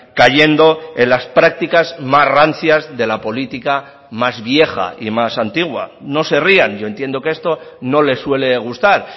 cayendo en las prácticas más rancias de la política más vieja y más antigua no se rían yo entiendo que esto no les suele gustar